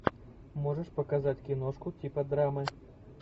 можешь показать киношку типа драмы